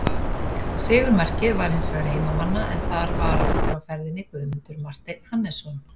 Sigurmarkið var hins vegar heimamanna en þar var aftur á ferðinni Guðmundur Marteinn Hannesson.